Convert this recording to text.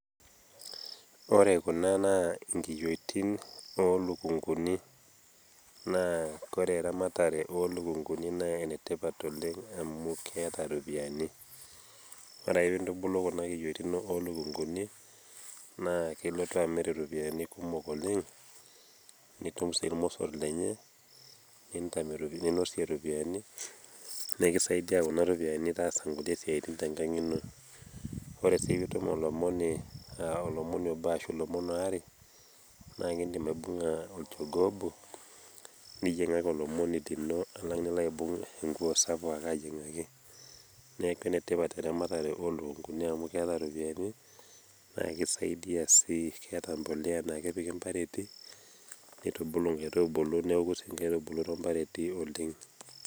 ore kuna naa inkiyiotin oolukunkuni, aa kore eramatare oolukunkuni naa enetipat oleng amu keeta ropiyiani. ore ake pee intubulu kunakiyiotin ooluknkuni naa ilotu amir iropiyiani kumok oleng nitum sii irmosor lenyena, ninosie iropiyiani. nikisaidia kunaropiyiani taasie nkulie siatin tenkang ino. ore sii pee itum olomoni obo ashu ilomon aare naa idim aibunga olchogoo obo niyiengaki olomoni lino, alang enilo aibung' enkuo sapuk ake ayiengaki. neeku enetipat eramatare oolukunkuni amu keeta ropiyiani, naa kisaidia sii, keeta empulia naa kejing impareti nitubulu metubulu neeku kebulu too mpareti oleng.